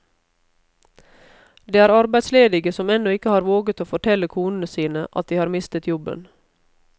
Det er arbeidsledige som ennå ikke har våget å fortelle konene sine at de har mistet jobben.